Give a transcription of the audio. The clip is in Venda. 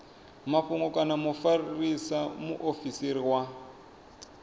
mafhungo kana mufarisa muofisiri wa